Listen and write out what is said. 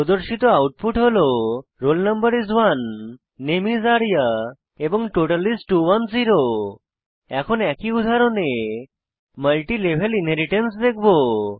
প্রদর্শিত আউটপুট হল roll no is 1 নামে is আরিয়া এবং টোটাল is 210 এখন একই উদাহরণে মাল্টি লেভেল ইনহেরিট্যান্স দেখব